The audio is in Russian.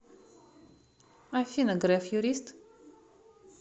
афина греф юрист